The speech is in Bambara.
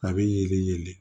A bɛ yelen